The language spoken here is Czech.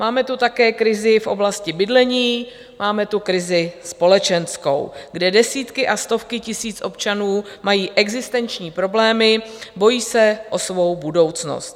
Máme tu také krizi v oblasti bydlení, máme tu krizi společenskou, kde desítky a stovky tisíc občanů mají existenční problémy, bojí se o svou budoucnost.